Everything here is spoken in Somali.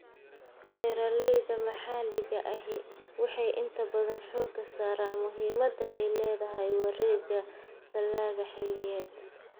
Beeralayda maxalliga ahi waxay inta badan xoogga saaraan muhiimadda ay leedahay wareegga dalagga xilliyeed.